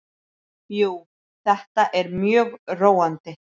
Jú, þetta er mjög róandi.